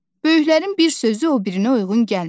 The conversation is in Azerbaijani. Böyüklərin bir sözü o birinə uyğun gəlmir.